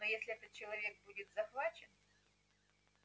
но если этот человек будет захвачен